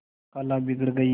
खाला बिगड़ गयीं